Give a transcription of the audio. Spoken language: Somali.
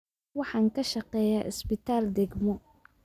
Waxaan ka shaqeeyaa isbitaal degmo